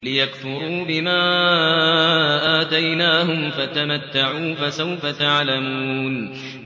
لِيَكْفُرُوا بِمَا آتَيْنَاهُمْ ۚ فَتَمَتَّعُوا فَسَوْفَ تَعْلَمُونَ